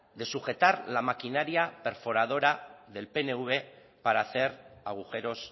de sujetar la maquinaria perforadora del pnv para hacer agujeros